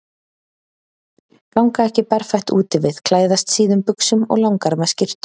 Ganga ekki berfætt úti við, klæðast síðum buxum og langerma skyrtum.